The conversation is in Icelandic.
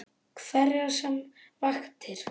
Hverjar sem hvatir